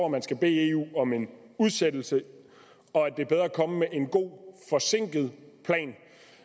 man skal bede eu om en udsættelse og at det er bedre at komme med en god forsinket plan